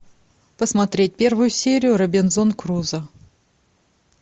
посмотреть первую серию робинзон крузо